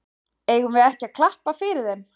Eigum við ekki að klappa fyrir þeim?